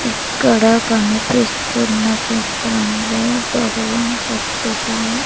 ఇక్కడ కనిపిస్తున్న చిత్రంలో భగవాన్ సత్యసాయి--